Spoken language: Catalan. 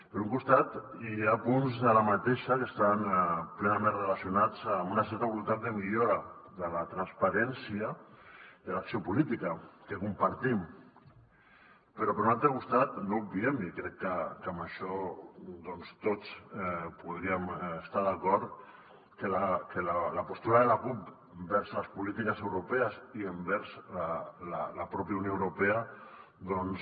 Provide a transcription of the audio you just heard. per un costat hi ha punts de la mateixa que estan plenament relacionats amb una certa voluntat de millora de la transparència de l’acció política que compartim però per un altre costat no obviem i crec que en això doncs tots podríem estar d’acord que la postura de la cup envers les polítiques europees i envers la pròpia unió europea doncs